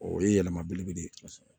O ye yɛlɛma belebele ye kosɛbɛ